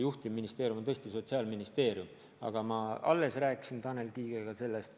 Juhtivministeerium on tõesti Sotsiaalministeerium, aga ma alles rääkisin Tanel Kiigega sellest.